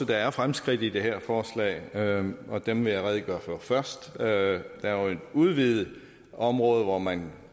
der er fremskridt i det her forslag og og dem vil jeg redegøre for først der er et udvidet område hvor man